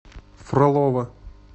фролово